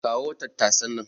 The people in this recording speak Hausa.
Kawo tattasan nan.